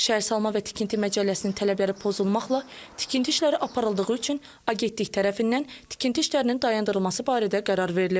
Şəhərsalma və tikinti məcəlləsinin tələbləri pozulmaqla tikinti işləri aparıldığı üçün agentlik tərəfindən tikinti işlərinin dayandırılması barədə qərar verilib.